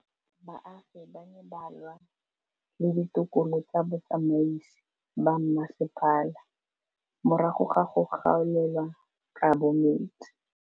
Baagi ba ne ba lwa le ditokolo tsa botsamaisi ba mmasepala morago ga go gaolelwa kabo metsi